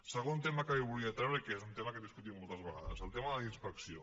segon tema que li volia treure i que és un tema que hem discutit moltes vegades el tema de la inspecció